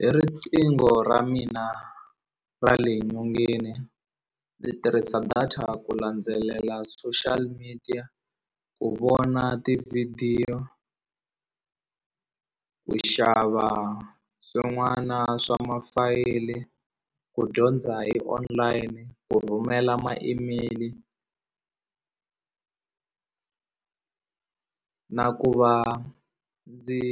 Hi riqingho ra mina ra le nyongeni ndzi tirhisa data ku landzelela social media ku vona tivhidiyo ku xava swin'wana swa mafayili ku dyondza hi online ku rhumela ma-email na ku va ndzi